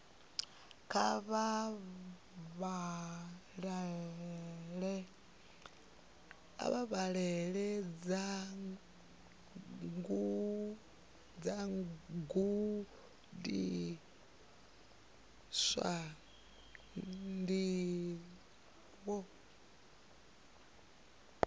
kha vha vhalele vhagudiswa ndivho